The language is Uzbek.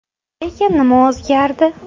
Lekin nima o‘zgardi?